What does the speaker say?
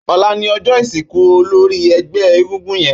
Ólà ni ọjọ isinkú ólóri ẹgbẹ egúngún yèn